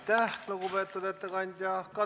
Aitäh, lugupeetud ettekandja!